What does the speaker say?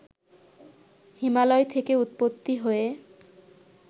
হিমালয় থেকে উৎপত্তি হয়ে